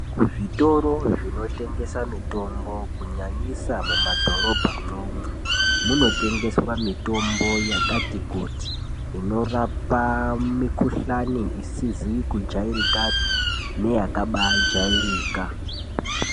Ku zvitoro zvino tengesa mitombo ku nyanyisa mu madhorobha mwo mwo muno tengeswa mitombo yakati kuti inorapa mi kuhlani isizi ku jairikapi neya kabai jairika.